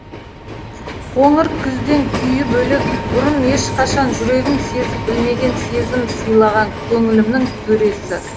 қоңыр күзден күйі бөлек бұрын ешқашан жүрегім сезіп білмеген сезім сыйлаған көңілімнің төресі